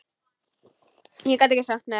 Ég gat ekki sagt nei.